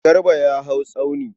Garba ya hau tsauni.